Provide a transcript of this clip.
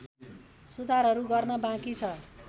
सुधारहरू गर्न बाँकी छ